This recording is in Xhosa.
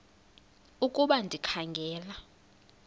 ukuba ndikha ngela